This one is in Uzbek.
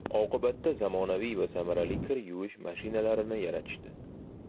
Oqibatda zamonaviy va samarali kir yuvish mashinalarini yaratishdi.